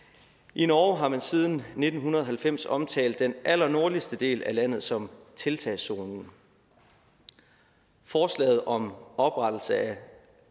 i norge har man siden nitten halvfems omtalt den allernordligste del af landet som tiltagszonen forslaget om oprettelse af